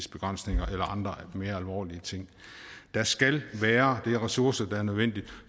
eller andre mere alvorlige ting der skal være de ressourcer der er nødvendige